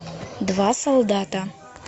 два солдата